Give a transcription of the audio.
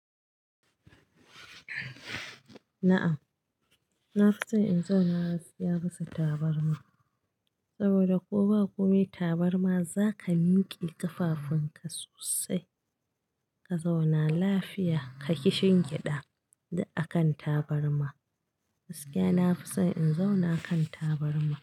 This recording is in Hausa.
Na'am, na fi so in zauna gaskiya bisa tabarma saboda ko ba komi tabarma za ka miƙe ƙafafun ka sosai ka zauna lafiya, ka ki shingiɗa a kan tabarma. Gaskiya na fi so in zauna a kan tabarma.